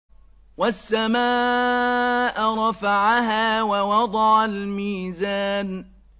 وَالسَّمَاءَ رَفَعَهَا وَوَضَعَ الْمِيزَانَ